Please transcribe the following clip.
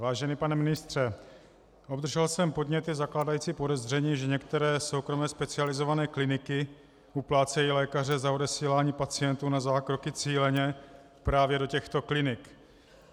Vážený pane ministře, obdržel jsem podněty zakládající podezření, že některé soukromé specializované kliniky uplácejí lékaře za odesílání pacientů na zákroky cíleně právě do těchto klinik.